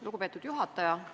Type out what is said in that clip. Lugupeetud juhataja!